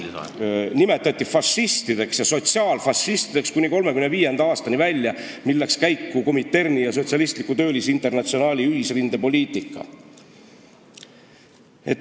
Jaak Valge sõnul nimetati sotsiaaldemokraate sotsiaalfašistideks kuni 1935. aastani välja, mil läks käiku Kominterni ja Sotsialistliku Töölisinternatsionaali ühisrinde poliitika.